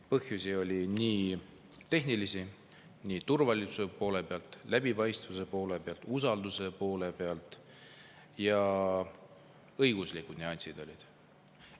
Põhjusi oli tehnilisi, turvalisuse poole pealt, läbipaistvuse poole pealt, usalduse poole pealt, ja ka õiguslikud nüansid olid.